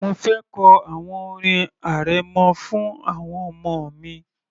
Mo fẹ kọ àwọn orin arẹmọ fún àwọn ọmọ mi